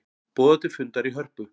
Boða til fundar í Hörpu